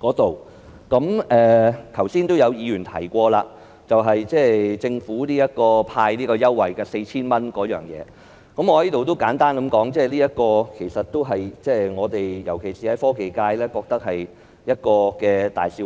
"，剛才亦有議員提及，政府派發 4,000 元，我想在此簡單說一說，我們——尤其是科技界——認為這是個大笑話。